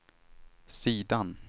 sidan